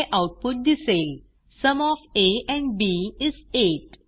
हे आऊटपुट दिसेल sum of a and b is 8